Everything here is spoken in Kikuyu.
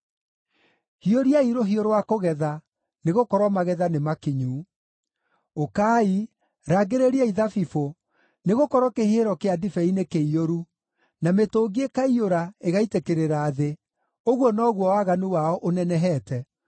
Hiũria-i rũhiũ rwa kũgetha, nĩgũkorwo magetha nĩ makinyu. Ũkai, rangĩrĩriai thabibũ, nĩgũkorwo kĩhihĩro kĩa ndibei nĩkĩiyũru, na mĩtũngi ĩkaiyũra, ĩgaitĩkĩrĩra thĩ: ũguo noguo waganu wao ũnenehete!”